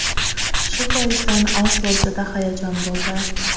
Shu boisdan oz bo‘lsa-da hayajon bo‘ldi.